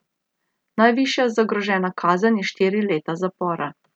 Najvišja zagrožena kazen je štiri leta zapora.